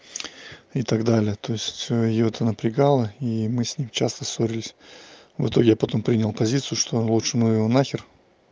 и так далее то есть её это напрягало и мы с ней часто ссорились в итоге я потом принял позицию что лучше ну его на хер